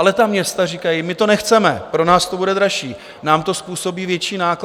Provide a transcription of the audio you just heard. Ale ta města říkají: My to nechceme, pro nás to bude dražší, nám to způsobí větší náklady!